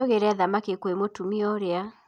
Tũgĩre thamaki kwĩ mũtumia ũrĩa